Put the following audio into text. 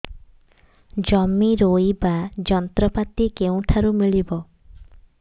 ଜମି ରୋଇବା ଯନ୍ତ୍ରପାତି କେଉଁଠାରୁ ମିଳିବ